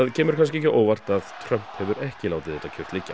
kemur kannski ekki á óvart að Trump hefur ekki látið þetta kyrrt liggja